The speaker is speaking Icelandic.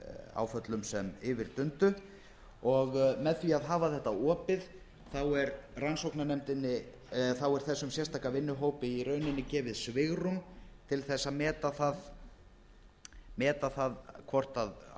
áföllum sem yfir dundu og með því að hafa þetta opið þá er þessum sérstaka vinnuhópi í rauninni gefið svigrúm til þess að meta það hvort